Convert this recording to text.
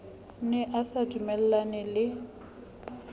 ne a sa dumellane le